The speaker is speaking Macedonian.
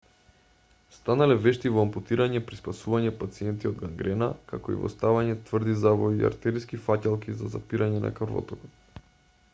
станале вешти во ампутирање при спасување пациенти од гангрена како и во ставање тврди завои и артериски фаќалки за запирање на крвотокот